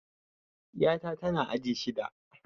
Ƴa ta tana aji shida